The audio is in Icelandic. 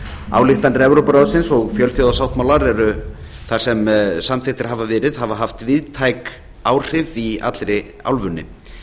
ályktanir evrópuráðsins og fjölþjóðasáttmálar sem samþykktir hafa verið hafa haft víðtæk áhrif í allri álfunni